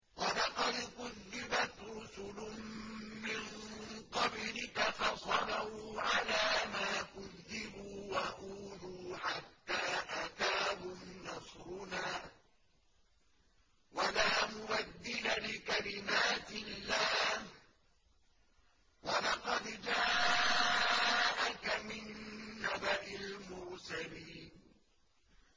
وَلَقَدْ كُذِّبَتْ رُسُلٌ مِّن قَبْلِكَ فَصَبَرُوا عَلَىٰ مَا كُذِّبُوا وَأُوذُوا حَتَّىٰ أَتَاهُمْ نَصْرُنَا ۚ وَلَا مُبَدِّلَ لِكَلِمَاتِ اللَّهِ ۚ وَلَقَدْ جَاءَكَ مِن نَّبَإِ الْمُرْسَلِينَ